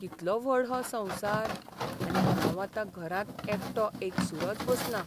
कितलो व्हड हो संवसार आनी हांव आतां घरांत एकटो एकसुरोच बसलां.